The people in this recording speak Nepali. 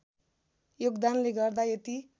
योगदानले गर्दा यति